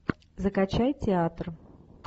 закачай театр